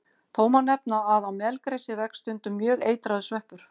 Þó má nefna að á melgresi vex stundum mjög eitraður sveppur.